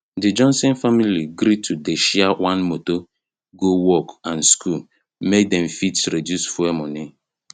d johnson family gree to dey share one motor go work and school make dem fit reduce fuel money